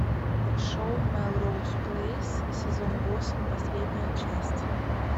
шоу мелроуз плейс сезон восемь последняя часть